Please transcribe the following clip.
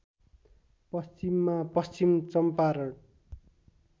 पश्चिममा पश्चिम चङ्पारण